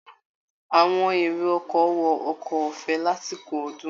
Àwọn èrò ọkọ̀ wọ ọkọ ọ̀fẹ́ lásìkò ọdún